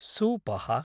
सूपः